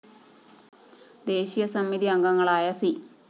ദേശീയ സമിതി അംഗങ്ങളായ സി